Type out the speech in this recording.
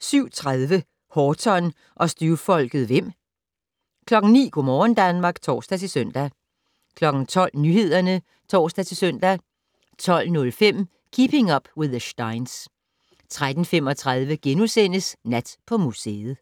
07:30: Horton og støvfolket Hvem 09:00: Go' morgen Danmark (tor-søn) 12:00: Nyhederne (tor-søn) 12:05: Keeping Up With the Steins 13:35: Nat på museet *